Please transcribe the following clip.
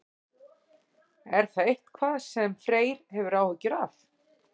Er það eitthvað sem Freyr hefur áhyggjur af?